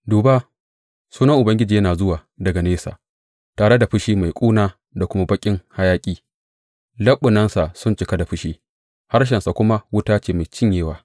Duba, Sunan Ubangiji yana zuwa daga nesa, tare da fushi mai ƙuna da kuma baƙin hayaƙi; leɓunansa sun cika da fushi, harshensa kuma wuta ce mai cinyewa.